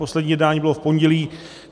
Poslední jednání bylo v pondělí.